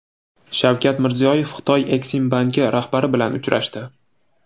Shavkat Mirziyoyev Xitoy Eksimbanki rahbari bilan uchrashdi.